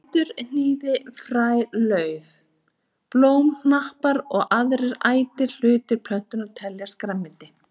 Rætur, hnýði, fræ, lauf, blómknappar og aðrir ætir hlutar plöntunnar teljast grænmeti.